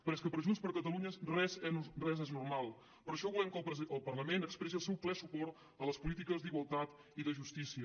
però és que per junts per catalunya res és normal per això volem que el parlament expressi el seu ple suport a les polítiques d’igualtat i de justícia